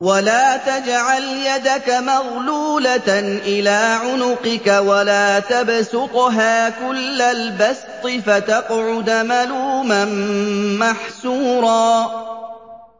وَلَا تَجْعَلْ يَدَكَ مَغْلُولَةً إِلَىٰ عُنُقِكَ وَلَا تَبْسُطْهَا كُلَّ الْبَسْطِ فَتَقْعُدَ مَلُومًا مَّحْسُورًا